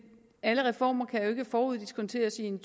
alle reformer kan jo ikke foruddiskonteres i en